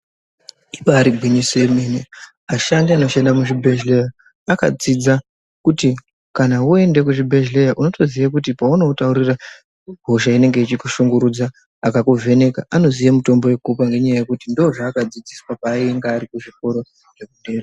Ibari gwinyiso yemene ashandi anoshanda muzvibhedhleya akadzidza kuti kana voende kuzvibhedhleya unotoziye kuti paunotaurira hosha inenge ichikushungurudza. Akakuvheneka anoziye mutombo vekukupa ngenyaya yekuti ndozvakadzidziswa painga ari kuzvikoro zvekudera.